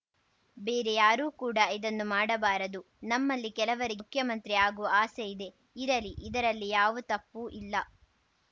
ಬೇರೆ ಯಾರೂ ಕೂಡ ಇದನ್ನು ಮಾಡಬಾರದು ನಮ್ಮಲ್ಲಿ ಕೆಲವರಿಗೆ ಮುಖ್ಯಮಂತ್ರಿ ಆಗುವ ಆಸೆ ಇದೆ ಇರಲಿ ಇದರಲ್ಲಿ ಯಾವು ತಪ್ಪು ಇಲ್ಲ